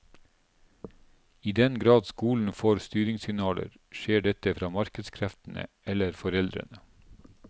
I den grad skolen får styringssignaler, skjer dette fra markedskreftene eller foreldrene.